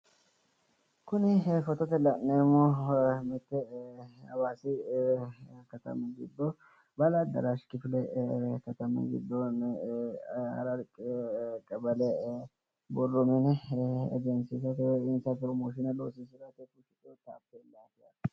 Kuni footote la'neemmohu hawaasi katami baahiladaraash kifile katami gidoonni qawale borro mini egensiisate